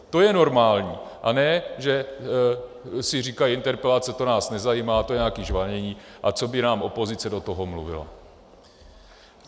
To je normální, a ne že si říkají interpelace, to nás nezajímá, to je nějaké žvanění, a co by nám opozice do toho mluvila.